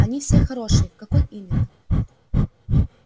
они все хорошие в какой именно